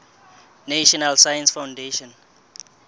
national science foundation